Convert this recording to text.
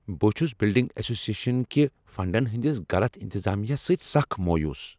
بہٕ چھُس building association کہ فنڈن ہنٛدس غلط انتظامہس سۭتۍ سکھ مایوس۔